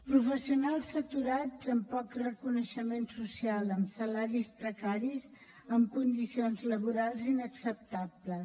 professionals saturats amb poc reconeixement social amb salaris precaris en condicions laborals inacceptables